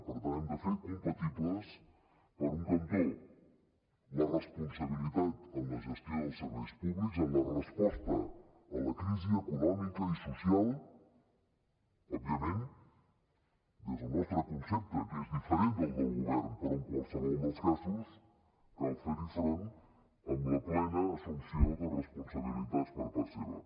per tant hem de fer compatibles per un cantó la responsabilitat en la gestió dels serveis públics en la resposta a la crisi econòmica i social òbviament des del nostre concepte que és diferent del del govern però en qualsevol dels casos cal fer hi front amb la plena assumpció de responsabilitats per part seva